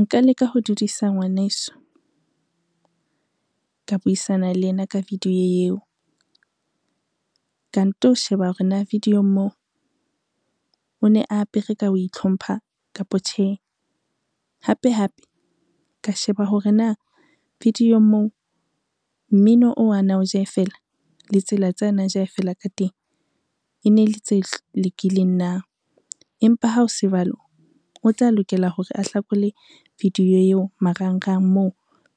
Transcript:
Nka leka ho dudiswa ngwaneso, ka buisana le yena ka video eo. Ka nto sheba hore na video-ng moo o ne a apere ka ho itlhompha kapa tjhe, hape hape, ka sheba hore na video-ng moo mmino oo a na wo jaefela le tsela tsa na e jaefela ka teng e ne le tse lokileng na. Empa ha o se jwalo, o tla lokela hore a hlakole video eo marangrang moo